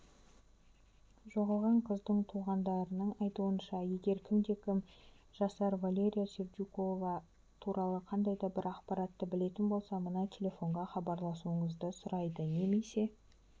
жоғалған қыздың туғандарының айтуынша егер кімде-кім жасар валерия сердюкова туралы қандайда бір ақпаратты білетін болса мына телефонға хабарласуларыңызды сұрайды немесе